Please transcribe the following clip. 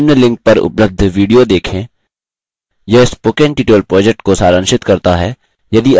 निम्न link पर उपलब्ध video देखें यह spoken tutorial project को सारांशित करता है